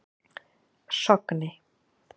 Sogni